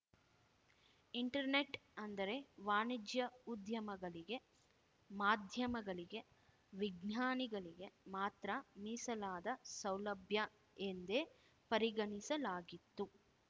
internet ಅಂದರೆ ವಾಣಿಜ್ಯ ಉದ್ಯಮಗಳಿಗೆ ಮಾಧ್ಯಮಗಳಿಗೆ ವಿಜ್ಞಾನಿಗಳಿಗೆ ಮಾತ್ರ ಮೀಸಲಾದ ಸೌಲಭ್ಯ ಎಂದೇ ಪರಿಗಣಿಸಲಾಗಿತ್ತು